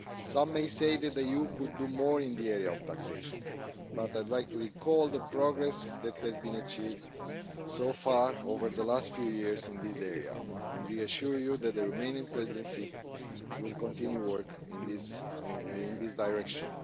Some may say that the EU could do more in the area of taxation, but I'd like to recall the progress that has been achieved so far over the last few years in this area, and we assure you that the Romanian Presidency will continue work in this direction.